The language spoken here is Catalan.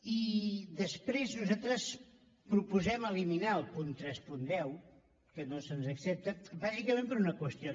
i després nosaltres proposem eliminar el punt tres cents i deu que no se’ns accepta bàsicament per una qüestió